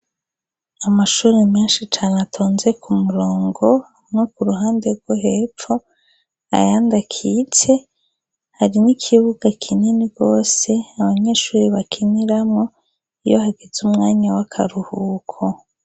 Amashuri menshi cane atonze ku murongo, no ku ruhande rwo hepfo, ayandi akitse, hari n'ikibuga kinini rwose abanyeshuri bakiniramwo, iyo hageze umwanya w'akaruhuko.